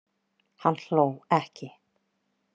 Hann hló ekki.